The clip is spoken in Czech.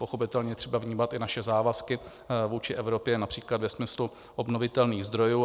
Pochopitelně je třeba vnímat i naše závazky vůči Evropě například ve smyslu obnovitelných zdrojů.